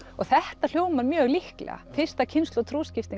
og þetta hljómar mjög trúlega fyrsta kynslóð